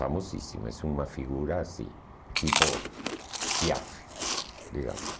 Famosíssima, é uma figura assim, tipo Piaf, digamos.